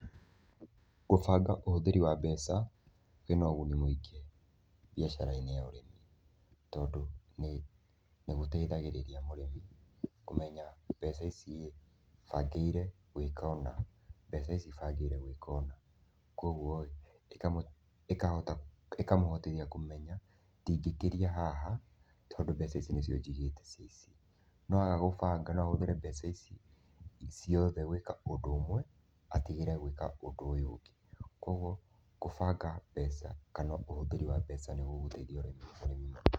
Gũbanga ũhũthĩri wa mbeca kwĩ na ũguni mũingĩ biacara-inĩ ya ũrĩmi, tondũ nĩgũteithagĩrĩria arĩmi kũmenya mbeca ici rĩ bataĩre gwĩka ũna, nacio ici bataĩre gwĩka ũna. Koguo rĩ ĩkamũhotithia kũmenya ndingĩkĩria haha, tondũ mbeca ici nĩcio njigĩte, no waga gũbanga no ahũthĩre mbeca ici ciothe gwĩka ũndũ ũmwe atigĩre gwĩka ũndũ ũyũ ũngĩ. Koguo gũbanga mbeca kana ũhũthĩri wa mbeca nĩ gũgũteithia arĩmi mũno.